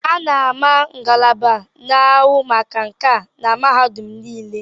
A na-ama ngalaba na-ahụ maka nkà na mahadum niile.